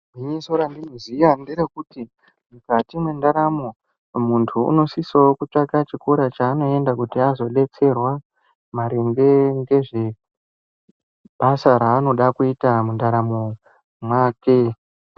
Gwinyiso randiri kuziya nderekuti mukati mwendaramo muntu unosise wo kutsvaka chikora chaanoenda kuti azodetserwa maringe ngezvebasa raanoda kuita mundaramo make.